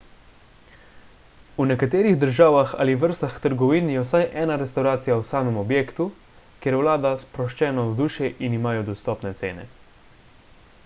v nekaterih državah ali vrstah trgovin je vsaj ena restavracija v samem objektu kjer vlada sproščeno vzdušje in imajo dostopne cene